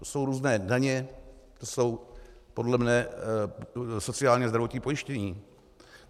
To jsou různé daně, to jsou podle mě sociální a zdravotní pojištění.